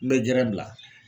N bɛ bila.